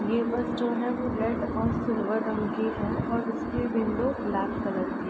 ये बस जो है वो रेड और सिल्वर रंग की है और उसकी विंडो ब्लैक कलर की है।